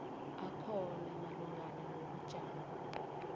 akhona malungana nobujamo